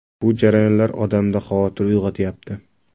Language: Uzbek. Bu jarayonlar odamda xavotir uyg‘otayapti.